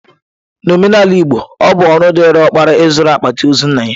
N'omenala Igbo, ọ bụ ọrụ dịịrị ọkpara ịzụrụ akpati ozu nna ya.